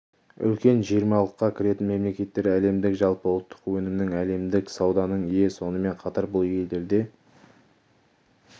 үлкен жиырмалыққа кіретін мемлекеттер әлемдік жалпы ұлттық өнімнің әлемдік сауданың ие сонымен қатар бұл елдерде